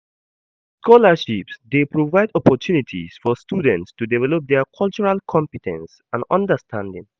Scholarships dey provide opportunities for students to develop dia cultural compe ten ce and understanding.